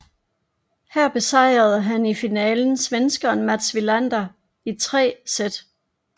Her besejrede han i finalen svenskeren Mats Wilander i tre sæt